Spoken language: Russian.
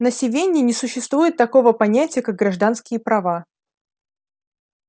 на сивенне не существует такого понятия как гражданские права